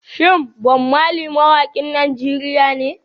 Shin Bob Marley mawakin Najeriya ne?